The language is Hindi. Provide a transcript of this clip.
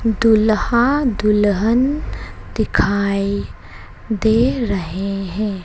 दूल्हा दुल्हन दिखाई दे रहे हैं।